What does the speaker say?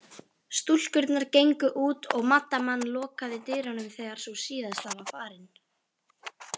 Stúlkurnar gengu út og maddaman lokaði dyrunum þegar sú síðasta var farin.